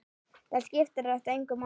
Þá skiptir þetta engu máli.